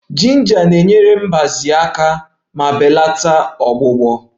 Jinja na-enyere mgbaze aka ma belata ọgbụgbọ